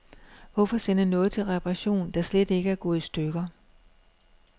Hvorfor sende noget til reparation, der slet ikke er gået i stykker.